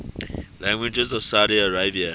languages of saudi arabia